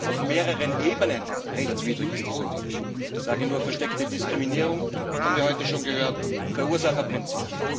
Auf mehreren Ebenen rechtswidrig ist dieser Deal. Ich sage nur versteckte Diskriminierung das haben wir heute schon gehört Verursacherprinzip.